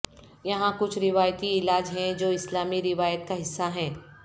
یہاں کچھ روایتی علاج ہیں جو اسلامی روایت کا حصہ ہیں